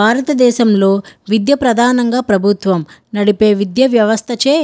భారత దేశంలో విద్య ప్రధానంగా ప్రభుత్వం నడిపే వ్యవస్థ చే--